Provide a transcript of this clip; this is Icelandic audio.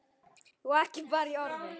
Og ekki bara í orði.